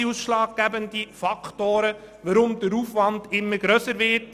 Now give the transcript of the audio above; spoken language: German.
Die Planungswut ist ein ausschlaggebender Faktor, weshalb der Aufwand immer grösser wird.